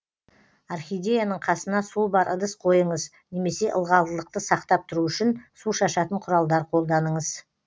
орхидеяның қасына суы бар ыдыс қойыңыз немесе ылғалдылықты сақтап тұру үшін су шашатын құралдар қолданыңыз